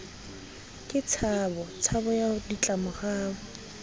ke tshabo tshabo ya ditlamorao